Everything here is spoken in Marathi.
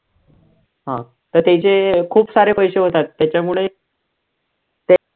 हा तर त्याचे खूप सारे पैसे होतात त्याच्यामुळे ते